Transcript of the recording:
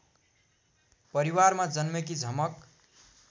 परिवारमा जन्मेकी झमक